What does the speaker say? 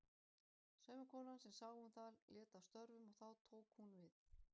Saumakonan sem sá um það lét af störfum og þá tók hún við.